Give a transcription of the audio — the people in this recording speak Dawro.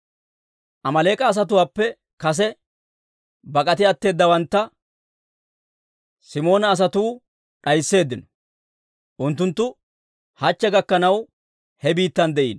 Amaaleek'a asatuwaappe kase bak'ati atteeddawantta Simoona asatuu d'aysseeddino. Unttunttu hachche gakkanaw he biittan de'iino.